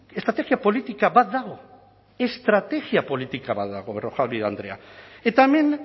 estrategia politika bat dago estrategia politika badago berrojalbiz andrea eta hemen